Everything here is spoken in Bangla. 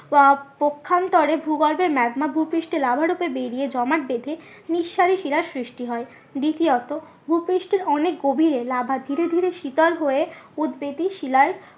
পক্ষান্তরে ভূগর্ভে ম্যাগমা ভুপৃষ্টে লাভা রূপে বেরিয়ে জমাট বেঁধে নিঃসারী শিলার সৃষ্টি হয়। দ্বিতীয়ত ভুপৃষ্ঠের অনেক গভীরে লাভা ধীরে ধীরে শীতল হয়ে উদবেধী শিলায়